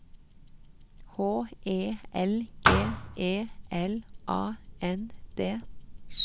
H E L G E L A N D